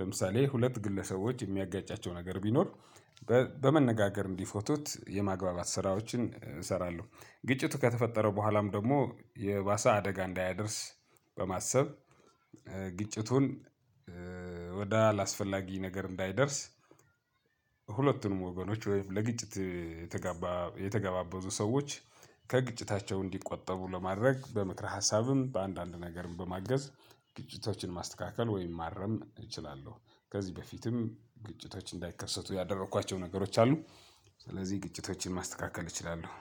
ለምሳሌ ሁለት ግለሰቦች የሚያጋጫቸው ነገር ቢኖር። በ በመነጋገር እንዲፈቱት የማግባባት ስራዎችን እሰራለሁ። ግጭቱ ከተፈጠረ በኋላም ደግሞ የባሳ አደጋ እንዳያደርስ። በማሰብ ግጭቱን ወደ አላስፈላጊ ነገር እንዳይደርስ። ሁለቱንም ወገኖች ወይም ለግጭት የተጋባ የተገባበዙ ሰዎች ከግጭታቸው እንዲቆጠቡ ለማድረግ በምክር ሀሳብም በአንዳንድ ነገርም በማገዝ። ግጭቶችን ማስተካከል ወይም ማረም እችላለሁ። ከዚህ በፊትም ግጭቶች እንዳይከሰቱ ያደረኳቸው ነገሮች አሉ። ስለዚህ ግጭቶችን ማስተካከል እችላለሁ።